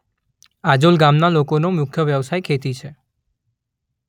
આજોલ ગામના લોકોનો મુખ્ય વ્યવસાય ખેતી છે.